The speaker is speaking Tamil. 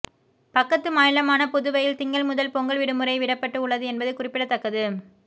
பக்கத்து மாநிலமான புதுவையில் திங்கள் முதல் பொங்கல் விடுமுறை விடப்பட்டு உள்ளது என்பது குறிப்பிடத்தக்கது